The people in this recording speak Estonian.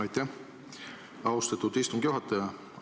Aitäh, austatud istungi juhataja!